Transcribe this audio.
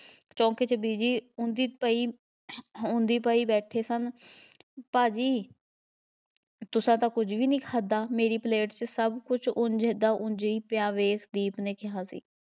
ਚੋਂਂਕੇ ਵਿੱਚ ਬੀਜੀ ਉਂਝ ਹੀ ਉਂਝ ਹੀ ਪਏ ਬੈਠੇ ਸਨ, ਭਾਅ ਜੀ ਤੁਸਾਂ ਤਾਂ ਕੁੱਝ ਵੀ ਨਹੀਂ ਖਾਧਾ, ਮੇਰੀ ਪਲੇਟ ਵਿੱਚ ਸਭ ਕੁੱਝ ਉਂਝ ਦਾ ਉਂਝ ਹੀ ਪਿਆ ਵੇਖ ਦੀਪ ਨੇ ਕਿਹਾ ਸੀ,